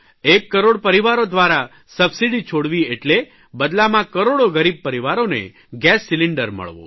એક કરોડ પરિવારો દ્વારા સબસીડી છોડવી એટલે બદલામાં કરોડો ગરીબ પરિવારોને ગેસ સિલિન્ડર મળવો